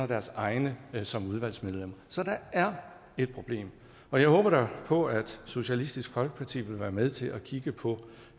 deres egne som udvalgsmedlemmer så der er et problem og jeg håber da på at socialistisk folkeparti vil være med til at kigge på